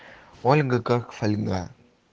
ольга как фольга